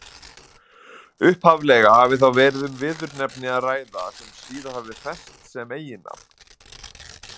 Upphaflega hafi þá verið um viðurnefni að ræða sem síðar hafi fest sem eiginnafn.